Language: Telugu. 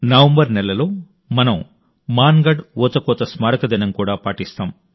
నవంబర్ నెలలో మేము మాన్ గఢ్ ఊచకోత వార్షికోత్సవాన్ని కూడా జరుపుకుంటాం